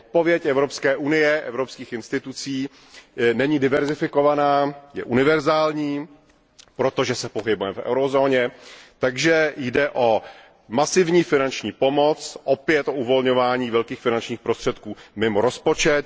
Odpověď Evropské unie, evropských institucí není diverzifikovaná, je univerzální, protože se pohybujeme v eurozóně, takže jde o masivní finanční pomoc, opět o uvolňování velkých finančních prostředků mimo rozpočet.